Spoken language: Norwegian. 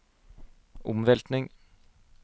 omveltning